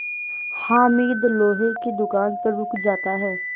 हामिद लोहे की दुकान पर रुक जाता है